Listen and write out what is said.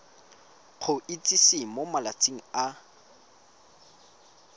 go itsise mo malatsing a